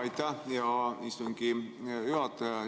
Aitäh, hea istungi juhataja!